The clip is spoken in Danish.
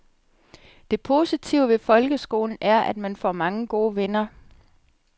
Det positive ved folkeskolen er at man får mange gode venner.